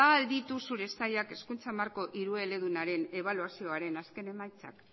ba al ditu zure sailak hezkuntza marko hirueledunaren ebaluazioaren azken emaitzak